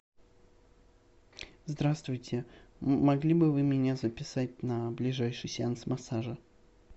здравствуйте могли бы вы меня записать на ближайший сеанс массажа